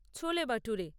ছোলে বাটুরে